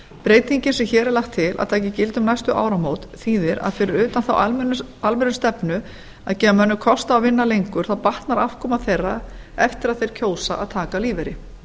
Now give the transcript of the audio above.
breytingin sem hér er lagt til að taki gildi um næstu áramót þýðir að fyrir utan þá almennu stefnu að gefa mönnum kost á að vinna lengur þá batnar afkoma þeirra eftir að þeir kjósa að taka lífeyri